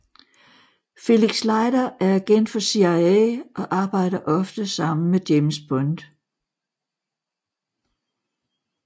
Felix Leiter er agent for CIA og arbejder ofte sammen med James Bond